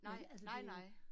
Nej, nej nej